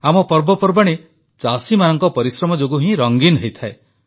ଆମ ପର୍ବପର୍ବାଣି ଚାଷୀମାନଙ୍କ ପରିଶ୍ରମ ଯୋଗୁଁ ହିଁ ରଙ୍ଗୀନ ହୋଇଥାଏ